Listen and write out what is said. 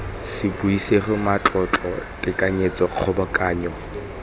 se buisega matlotlo tekanyetso kgobokanyo